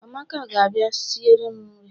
Amaka ga-abia isiri m nri